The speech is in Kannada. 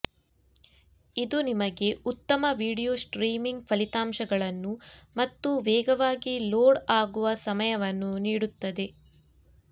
ಇದು ನಿಮಗೆ ಉತ್ತಮ ವೀಡಿಯೊ ಸ್ಟ್ರೀಮಿಂಗ್ ಫಲಿತಾಂಶಗಳನ್ನು ಮತ್ತು ವೇಗವಾಗಿ ಲೋಡ್ ಆಗುವ ಸಮಯವನ್ನು ನೀಡುತ್ತದೆ